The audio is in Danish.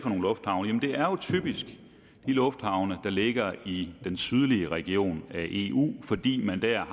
nogle lufthavne det er jo typisk de lufthavne der ligger i den sydlige region af eu fordi man der